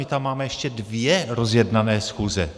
My tam máme ještě dvě rozjednané schůze.